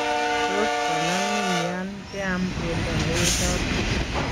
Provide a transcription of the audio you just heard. Tot konamin yan keeam beendo newechoot